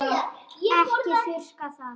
Ekki þurrka það út.